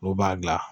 N'u b'a gilan